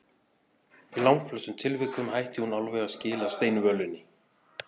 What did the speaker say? Í langflestum tilvikum hætti hún alveg að skila steinvölunni.